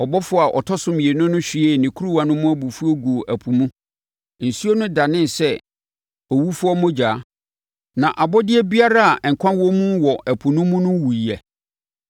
Ɔbɔfoɔ a ɔtɔ so mmienu no hwiee ne kuruwa no mu abufuo guu ɛpo mu. Nsuo no danee sɛ owufoɔ mogya, na abɔdeɛ biara a nkwa wɔ mu wɔ ɛpo no mu no wuiɛ.